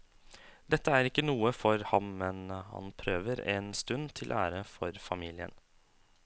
Dette er ikke noe for ham, men han prøver en stund til ære for familien.